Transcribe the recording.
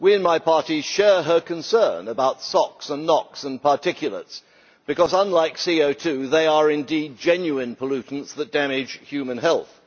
We, in my party, share her concern about SOx and NOx and particulates, because unlike CO2 they are indeed genuine pollutants that damage human health.